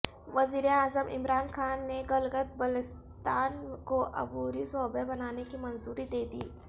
وزیر اعظم عمران خان نے گلگت بلتستان کوعبوری صوبہ بنانے کی منظوری دے دی